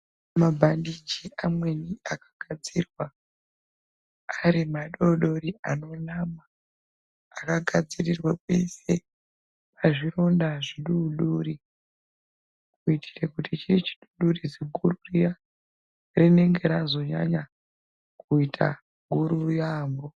Mabhandichi amweni akagadzirwa ari madodori anona akagadzirirwe kuiswe pazvironda zvidodori. Kuitire kuti chii chidodori zviguru riya rinenge razonyanya kuita guru yaamho.